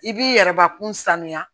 I b'i yɛrɛbakun sanuya